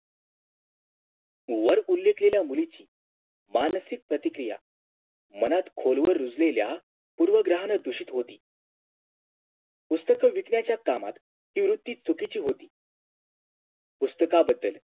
वर उल्लेखलेल्या मुलीची मानसिक प्रतिक्रिया मनात खोलवर रुजलेल्या पूर्व ग्रहांना दूषित होती पुस्तके विकण्याच्या कामात ती वृत्ती चुकीची होती पुस्तकांबद्दल